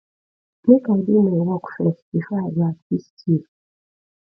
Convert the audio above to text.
make i do my work first before i go assist you